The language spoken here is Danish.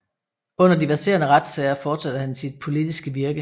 Under de verserende retssager fortsatte han sit politiske virke